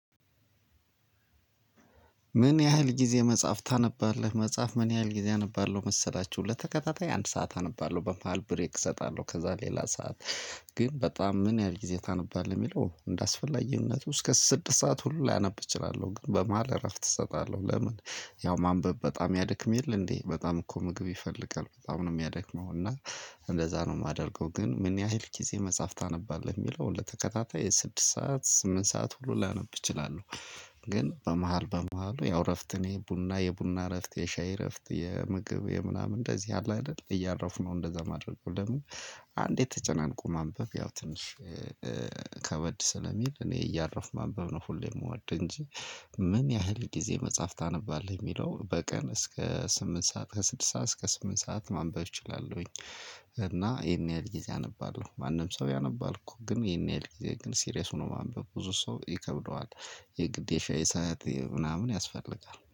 ምን ያህል ጊዜ መጽሐፍ ታነባለህ? መጽሐፍ ምን ያህል ጊዜ አነባለሁ መሰላችሁ ለተከታታይ አንድ ሰዓት አነባለሁ። በመሃል ብሬክ እሰጣለሁ። ከዛ ሌላ ሰዓት- ግን በጣም ምን ያህል ጊዜ ታነባለህ የሚለው እንደ አስፈላጊነቱ እስከ ስድስት ሰዓት ሁሉ ላነብ እችላለሁ። ግን በመሃል እረፍት እሰጣለሁ። ለምን ያው ማንበብ በጣም ያደክም የለ እንዴ በጣም እኮ ምግብ ይፈልጋል። በጣም ነው የሚያደክመው እና- እንደዛ ነው የማደርገው ግን ምን ያህል ጊዜ መጽሐፍ ታነባለህ የሚለውን ለተከታታይ የስድስት ሰዓት ስምንት ሰዓት ሁሉ ላነብ እችላለሁ። ግን በመሃል በመሃሉ ያው እረፍት የቡና የቡና እረፍት የሻይ እረፍት የምግብ የምናምን እንደዚህ አለ አይደል እያረፉ ነው እንደዛ ማድረግ ለምን አንድ ተጨናንቆ ማንበብ ያው ትንሽ- ከበድ ስለሚል እኔ እያረፍኩ ማንበብ ነው ሁሌም የምወድ እንጂ- ምን ያህል ጊዜ መጽሐፍ ታነባለህ የሚለው በቀን እስከ ስምንት ሰዓት ከስድስት ሰዓት እስከ ስምንት ሰዓት ማንበብ እችላለሁኝ። እና ይሄን ያህል ጊዜ አነባለሁ። ማንም ሰው ያነባል እኮ ግን ይሄን ያህል ጊዜ ግን ሲሪየስ ሆኖ ማንበብ ብዙ ሰው ይከብደዋል። የግዴታ የሻይ ሰዓት የምናምን ያስፈልጋል።